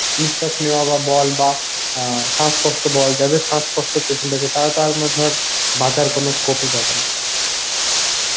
নিঃশ্বাস নেয়া বা বল বা অ্যাঁ শ্বাস কষ্ট বল যাদের শ্বাসকষ্টের পেশেন্ট আছে তারা তার মানে ধর বাঁচার কোনো scope ই পাবে না